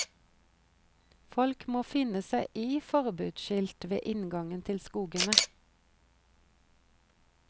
Folk må finne seg i forbudsskilt ved inngangen til skogene.